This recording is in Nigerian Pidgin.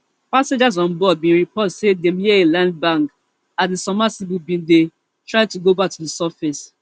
passengers on board bin report say dem hear a loud bang as di submersible bin dey try to go back to di surface